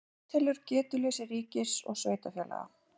Átelur getuleysi ríkis og sveitarfélaga